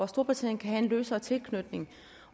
storbritannien kan have en løsere tilknytning